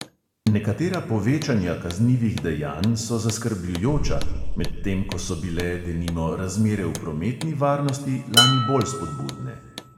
Nekatera povečanja kaznivih dejanj so zaskrbljujoča, medtem ko so bile, denimo, razmere v prometni varnosti, lani bolj spodbudne.